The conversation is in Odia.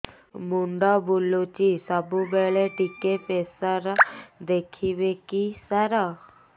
ମୁଣ୍ଡ ବୁଲୁଚି ସବୁବେଳେ ଟିକେ ପ୍ରେସର ଦେଖିବେ କି ସାର